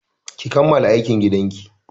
Ki kammala aikin gidan ki!